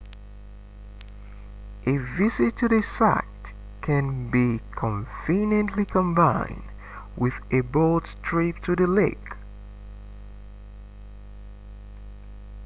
a visit to the site can be conveniently combined with a boat trip to the lake